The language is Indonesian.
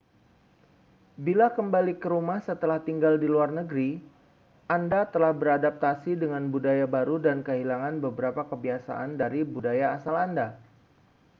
bila kembali ke rumah setelah tinggal di luar negeri anda telah beradaptasi dengan budaya baru dan kehilangan beberapa kebiasaan dari budaya asal anda